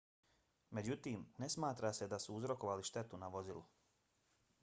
međutim ne smatra se da su uzrokovali štetu na vozilu